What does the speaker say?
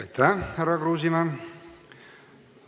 Aitäh, härra Kruusimäe!